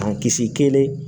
Kisi kelen